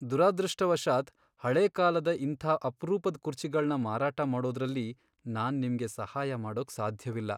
ದುರದೃಷ್ಟವಶಾತ್ ಹಳೇ ಕಾಲದ ಇಂಥ ಅಪ್ರೂಪದ್ ಕುರ್ಚಿಗಳ್ನ ಮಾರಾಟ ಮಾಡೋದ್ರಲ್ಲಿ ನಾನ್ ನಿಮ್ಗೆ ಸಹಾಯ ಮಾಡೋಕ್ ಸಾಧ್ಯವಿಲ್ಲ.